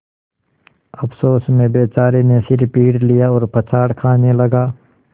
अफसोस में बेचारे ने सिर पीट लिया और पछाड़ खाने लगा